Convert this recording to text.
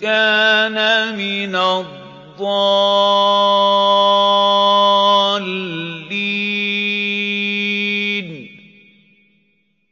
كَانَ مِنَ الضَّالِّينَ